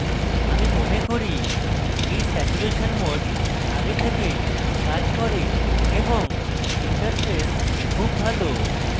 আমি mode করি এই স্যাচুরেশন mode আগে থেকেই কাজ করে এবং ইন্টারফেস খুব ভালো